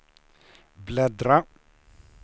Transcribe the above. bläddra